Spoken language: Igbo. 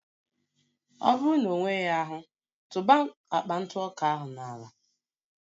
Ọ bụrụ na ọ nweghị ahụ, tụba akpa ntụ ọka ahụ n'ala